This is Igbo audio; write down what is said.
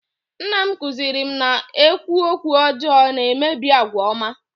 nna m kụziiri m na-ekwu "okwu ọjọọ na-emebi àgwà ọma"